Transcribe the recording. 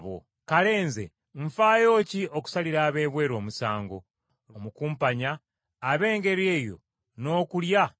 Kale nze nfaayo ki okusalira ab’ebweru omusango? Lwaki sisalira abo abali mu mmwe?